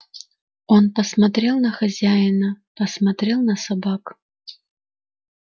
он посмотрел на хозяина посмотрел на собак